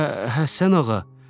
Hə, Həsən ağa.